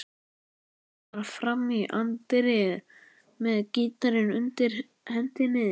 Stormar fram í anddyrið með gítarinn undir hendinni.